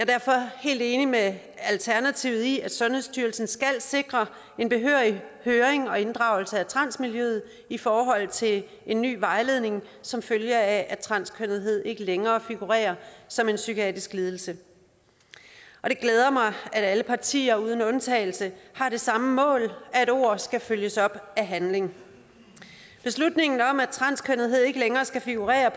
derfor helt enig med alternativet i at sundhedsstyrelsen skal sikre en behørig høring og inddragelse af transmiljøet i forhold til en ny vejledning som følge af at transkønnethed ikke længere figurerer som en psykiatrisk lidelse det glæder mig at alle partier uden undtagelse har det samme mål at ord skal følges op af handling beslutningen om at transkønnethed ikke længere skal figurere